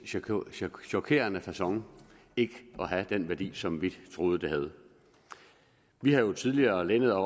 chokerende facon ikke at have den værdi som vi troede det havde vi har jo tidligere lænet